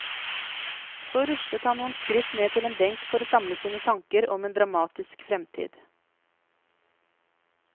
Så ruslet han noen skritt ned til en benk for å samle sine tanker om en dramatisk fremtid.